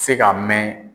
Se ka mɛn